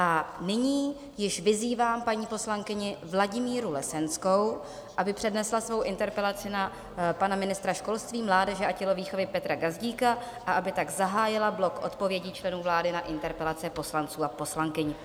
A nyní již vyzývám paní poslankyni Vladimíru Lesenskou, aby přednesla svou interpelaci na pana ministra školství, mládeže a tělovýchovy Petra Gazdíka a aby tak zahájila blok odpovědí členů vlády na interpelace poslanců a poslankyň.